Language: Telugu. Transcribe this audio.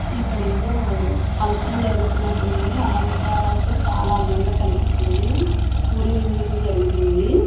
ఇక్కడ ఏదో ఫంక్షన్ జరుగుతున్నట్టు ఉంది అలంకారాలతో చాలా అందంగా కనిపిస్తుంది పూరేగింపు ఏదో జరుగుతుంది.